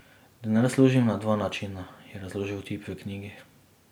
Denar služim na dva načina, je razložil tip v knjigi.